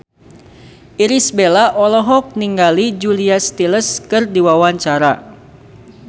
Irish Bella olohok ningali Julia Stiles keur diwawancara